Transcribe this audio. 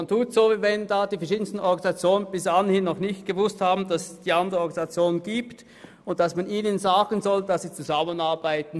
Man tut so, als ob diese verschiedenen Organisationen bis anhin nicht von den anderen Organisationen gewusst haben und dass man ihnen nun sagen muss, sie sollen sie zusammenarbeiten.